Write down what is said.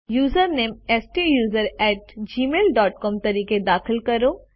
username સ્ટુસરોને at Gmail dot C O M તરીકે દાખલ કરો